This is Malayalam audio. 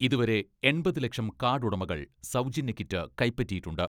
ഇതുവരെ എൺപത് ലക്ഷം കാഡുടമകൾ സൗജന്യ കിറ്റ് കൈപ്പറ്റിയിട്ടുണ്ട്.